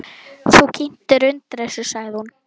Þú kyntir undir þessu, sagði hún.